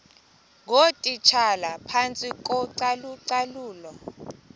ngootitshala phantsi kocalucalulo